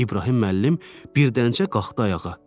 İbrahim müəllim birdən-cə qalxdı ayağa.